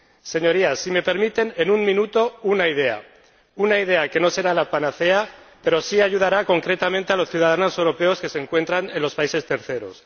Señorías, permítanme exponer en un minuto una idea, una idea que no será la panacea pero que sí ayudará concretamente a los ciudadanos europeos que se encuentran en países terceros.